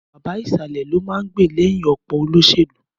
Bàbá ìsàlẹ̀ ló máa ń gbè lẹ́yìn ọ̀pọ̀ olóṣèlú.